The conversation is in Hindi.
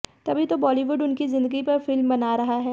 तभी तो बॉलीवुड उनकी जिंदगी पर फिल्म बना रहा है